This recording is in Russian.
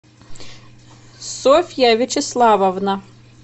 софья вячеславовна